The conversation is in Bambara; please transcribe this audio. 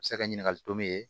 Se ka ɲininkali tomi